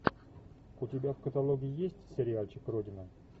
у тебя в каталоге есть сериальчик родина